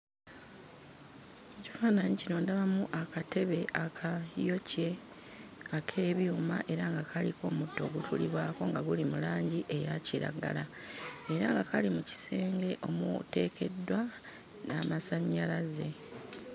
Ekifaananyi kino ndabamu akatebe akayokye ak'ebyuma era nga kaliko omutto ogutuulibwako nga guli mu langi eya kiragala, era nga kali mu kisenge omuteekeddwa n'amasannyalaze.